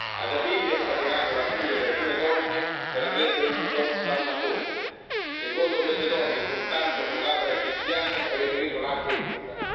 Asia Bibi ha scatenato la furia di alcune donne per aver bevuto da una fonte secondo queste donne, il contatto con labbra cristiane avrebbe reso l'acqua impura.